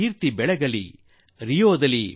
ಹಾರಿಸಿ ಬಾವುಟ ರಿಯೋದಲ್ಲಿ